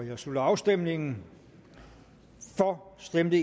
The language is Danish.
jeg slutter afstemningen for stemte